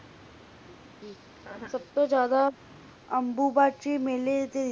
ਸਬ ਤੋਂ ਜ਼ਿਆਦਾ ਅੰਬੂਬਾਚੀ ਮੈਲੇ ਦੇ ਵਿਚ